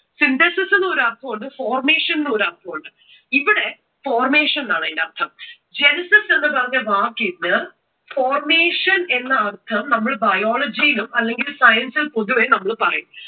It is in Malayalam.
synthesis എന്ന ഒരു അർത്ഥവുമുണ്ട് formation എന്നൊരു അർത്ഥവുമുണ്ട്. ഇവിടെ formation എന്നാണ് ഇതിന്റെ അർഥം. genesis എന്നു പറഞ്ഞ വാക്കിന് formation എന്ന അർഥം നമ്മൾ biology ഇലും അല്ലെങ്കിൽ science ൽ പൊതുവെ നമ്മൾ പറയും.